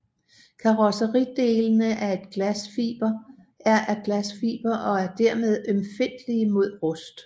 Karrosseridelene er af glasfiber og er dermed ømfindtlige mod rust